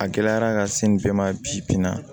A gɛlɛyara ka se nin bɛɛ ma bi bi in na